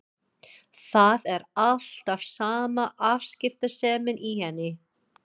Það er alltaf sama afskiptasemin í henni.